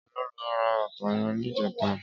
Éló ló rà bàtá yèn nijètá?